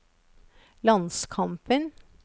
landskampen